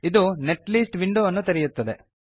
ಇದು ನೆಟ್ಲಿಸ್ಟ್ ವಿಂಡೋವನ್ನು ತೆರೆಯುತ್ತದೆ